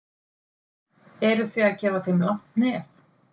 Eruð þið að gefa þeim langt nef?